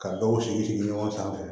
Ka dɔw sigi sigi ɲɔgɔn sanfɛ